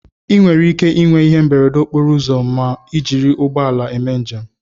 ị nwere ike ịnwe ihe mberede okporo ụzọ ms ị jiri ụgbọ ala eme njem